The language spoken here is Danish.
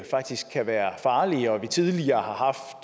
faktisk kan være farlige og at det tidligere